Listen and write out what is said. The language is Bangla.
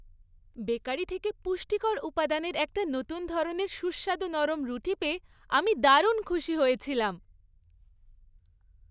বেকারি থেকে পুষ্টিকর উপাদানের একটা নতুন ধরনের সুস্বাদু নরম রুটি পেয়ে আমি দারুণ খুশি হয়েছিলাম।